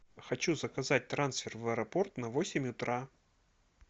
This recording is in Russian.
хочу заказать трансфер в аэропорт на восемь утра